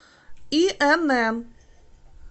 инн